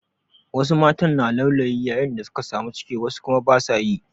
Wasu matan na laulayi yayin da suka samu ciki wasu kuma ba su yi.